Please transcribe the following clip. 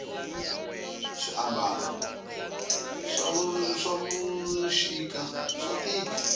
swi ambalo swavushika swatika